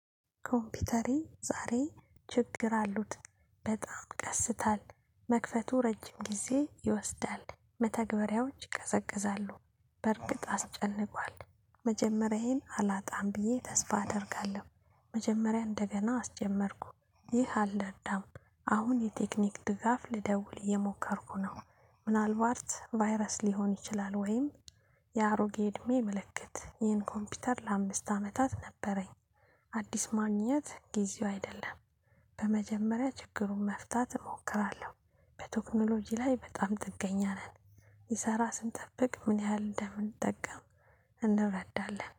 ኮምፒውተሬ ዛሬ ችግር አሉት በጣም ቀስታል መክፈቱ ረጅም ጊዜ ይወስዳል መተግበሪያዎች ይቀዘቅዛሉ በእርግጥ አስጨንቋል። መጀመሪያዬን አላጣም ብዬ ተስፋ አደርጋለሁ። መጀመሪያ እንደገና አስጀመርኩ ይህ አለ እዳም። አሁን የቴክኒክ ድጋፍ ልደውል የሞከርኩ ነው። ምናልባት ቫይረስ ሊሆን ይችላል። ወይም የአሮጌ እድሜ ምልክት ይህን ኮምፒውተር ለአምስት አመታት ነበረኝ። አዲስ ማግኘት ጊዜው አይደለም። በመጀመሪያ ችግሩን መፍታት እሞክራለሁ። በቴክኖሎጂ ላይ በጣም ጥገኛ ነን። ይሰራ ስንጠብቅ ምን ያህል እንደምንጠቀም እንረዳለን